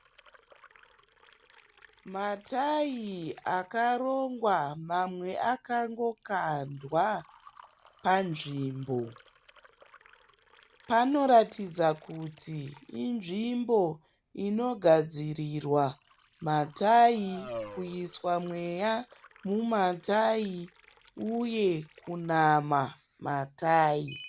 Matayi akarongwa mamwe akangokandwa panzvimbo. Panoratidza kuti inzvimbo inogadzirirwa matayi, kuiswa mweya mumatayi uye kunama matayi.